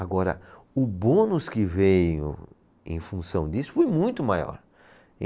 Agora, o bônus que veio em função disso foi muito maior.